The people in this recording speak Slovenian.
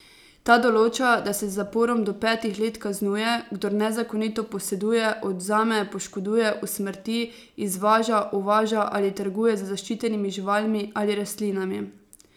Ta določa, da se z zaporom do petih let kaznuje, kdor nezakonito poseduje, odvzame, poškoduje, usmrti, izvaža, uvaža ali trguje z zaščitenimi živalmi ali rastlinami.